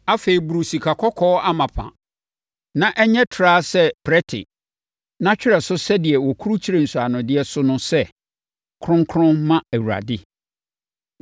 “Afei, boro sikakɔkɔɔ amapa ma ɛnyɛ trawa sɛ prɛte na twerɛ so sɛdeɛ wɔkurukyire nsɔanodeɛ so no sɛ: Kronkron Ma Awurade.